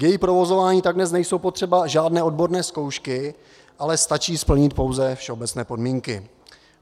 K jejímu provozování tak dnes nejsou potřeba žádné odborné zkoušky, ale stačí splnit pouze všeobecné podmínky.